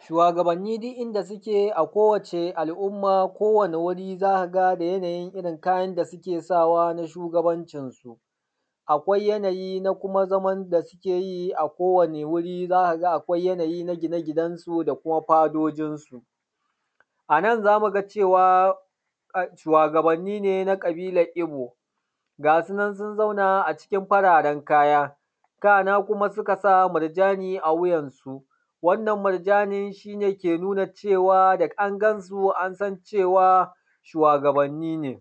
Shuwagabani duk inda suke a kowacce al'umma kowane wuri za ka ga da yanayin irin kayan da suke sa wa na shugabancin su, akwai yanayi na kuma zaman da suke yi a kowane wuri za ka ga akwai yanayi na gine ginansu da kuma fadojin su. Anan za mu ga cewa shuwagabani ne na ƙabilar ibo, ga sunan sun zauna a cikin fararen kaya, kana kuma suka sa murjani a wuyansu, wannan murjani shi ne ke nuna cewa da an gan su an san cewa shuwagabani ne.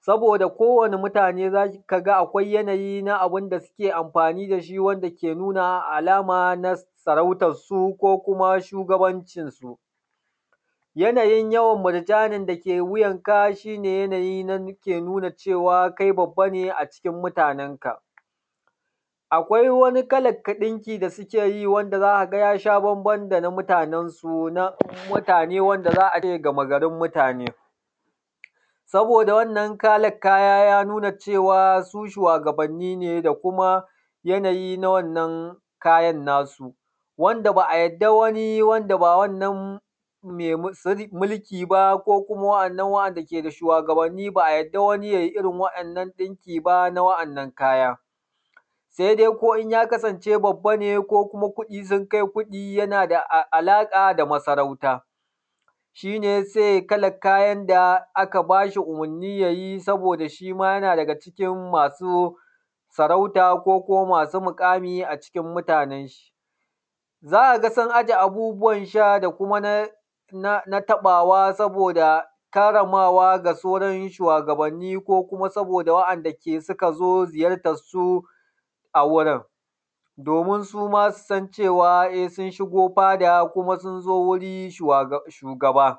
Saboda ko wane mutane za ka ga akwai yanayi na abun da suke amfani da shi wanda ke nuna alama na sarauta su ko kuma shugabancin su. Yanayin yawan murjani da ke wuyan ka shi ne yanayin da ke nuna cewa kai babba ne a cikin mutanenka. Akwai wani kalan ɗinki wanda suke yi wanda za a ga ya sha bamban da na mutanen su, na mutane wanda za a ga gama garin mutane. Saboda wannan kalan kaya ya nuna cewa su shuwagabani ne da kuma yanayi na wannan kayan na su, wanda ba a yarda wani wanda ba wannan mai mulki ba ko kuma waɗannan wanda ba shuwagabani ba a yarda wani ya irin wannan ɗinki ba na waɗannan kaya. Sai dai ko in ya kasance babba ne ko kuma kuɗi sun kai kuɗi yana da alaƙa da masarauta, shi ne zai kalan kayan da aka ba shi umarni ya yi saboda shi ma yana daga cikin masu sarauta ko ko masu miƙami a cikin mutanen shi. Za ka ga sun a je abubuwan sha da kuma na taɓawa saboda karramawa ga sauran shuwagabani ko kuma waɗanda su ka zo ziyartan su a wurin, domin suma su san cewa e sun shigo fada kuma sun zo wurin shugaba,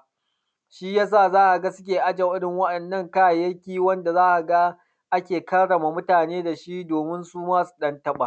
shi ya sa za ka ga suke aje irin waɗannan kayayyaki wanda za ka ga ake karrama mutane da shi domin suma su ɗan taba.